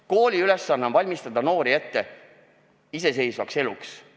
Kooli ülesanne on valmistada noori ette iseseisvaks eluks.